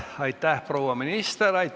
Aitäh, proua minister!